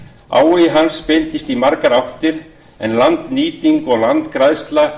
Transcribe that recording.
áhugi hans beindist í margar áttir en landnýting og landgræðsla